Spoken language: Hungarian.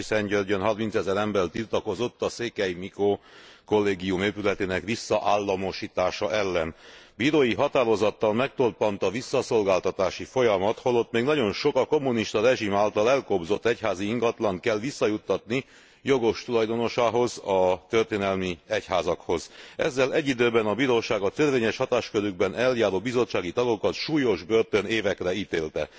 Sepsiszentgyörgyön harmincezer ember tiltakozott a Székely Mikó Kollégium épületének visszaállamosítása ellen. Bírói határozattal megtorpant a visszaszolgáltatási folyamat, holott még nagyon sok, a kommunista rezsim által elkobzott egyházi ingatlant kell visszajuttatni jogos tulajdonosához, a történelmi egyházakhoz. Ezzel egy időben a bíróság a törvényes hatáskörükben eljáró bizottsági tagokat súlyos börtönévekre ítélte.